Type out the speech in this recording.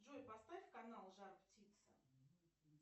джой поставь канал жар птица